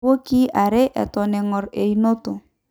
iwoikii are eton engorr eunoto